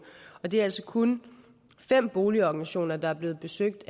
det er altså kun fem boligorganisationer der er blevet besøgt